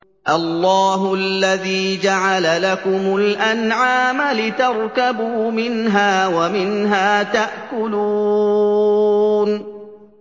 اللَّهُ الَّذِي جَعَلَ لَكُمُ الْأَنْعَامَ لِتَرْكَبُوا مِنْهَا وَمِنْهَا تَأْكُلُونَ